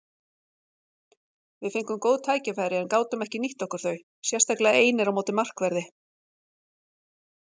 Við fengum góð tækifæri en gátum ekki nýtt okkur þau, sérstaklega einir á móti markverði.